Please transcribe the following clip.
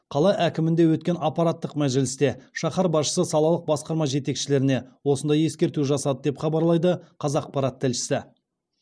қала әкімдігінде өткен аппараттық мәжілісте шаһар басшысы салалық басқарма жетекшілеріне осындай ескерту жасады деп хабарлайды қазақпарат тілшісі